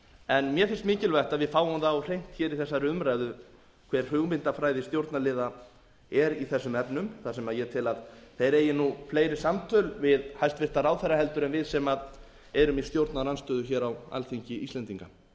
en mér finnst mikilvægt að við fáum það á hreint hér í þessari umræðu hver hugmyndafræði stjórnarliða er í þessum efnum þar sem ég tel að þeir eigi nú fleiri samtöl við hæstvirta ráðherra en við sem erum í stjórnarandstöðu hér á alþingi íslendinga